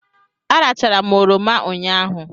Arachara m oroma ụnyahụ.